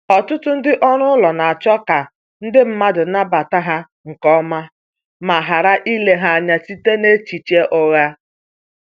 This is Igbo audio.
Ọtụtụ ndị ọrụ ụlọ na-achọ ka ndi mmadụ nabata ha nke ọma ma ghara ile ha anya site n’echiche ụgha.